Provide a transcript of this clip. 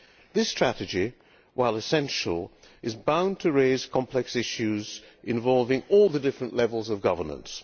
This strategy, while essential, is bound to raise complex issues involving all the different levels of governance.